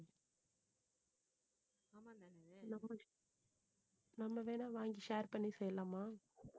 நம்ம வேணா வாங்கி share பண்ணி செய்யலாமா